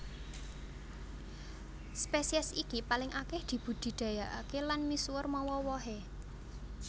Spesies iki paling akèh dibudidayakaké lan misuwur mawa wohé